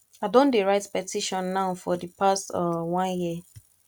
i don dey write petition now for the past um one year